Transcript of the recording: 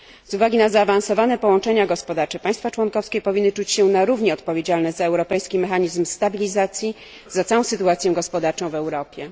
Z uwagi na zaawansowane połączenia gospodarcze państwa członkowskie powinny czuć się na równi odpowiedzialne za europejski mechanizm stabilizacji, za całą sytuację gospodarczą w Europie.